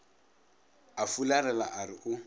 a fularela a re o